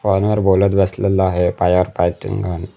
Phone वर बोलत बसलेल आहे पायावर पाय ठेऊन माणूस.